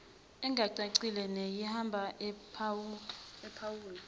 engacacile neyihaba ephawula